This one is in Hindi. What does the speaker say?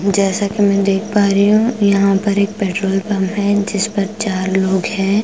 जैसा कि मैं देख पा रही हूं यहां पर एक पेट्रोल पंप है जिस पर चार लोग हैं।